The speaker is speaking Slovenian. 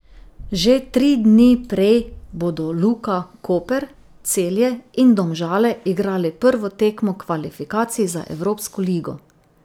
Že tri dni prej bodo Luka Koper, Celje in Domžale igrali prvo tekmo kvalifikacij za evropsko ligo.